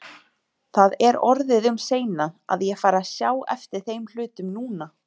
Það er orðið um seinan, að ég fari að sjá eftir þeim hlutum núna.